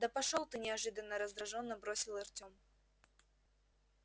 да пошёл ты неожиданно раздражённо бросил артем